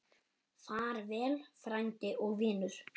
Far vel frændi og vinur.